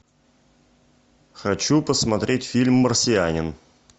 хочу посмотреть фильм марсианин